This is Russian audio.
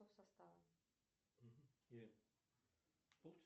сбер где построена могила чингисхана